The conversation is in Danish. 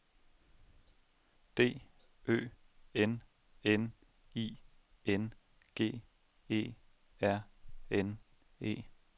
D Ø N N I N G E R N E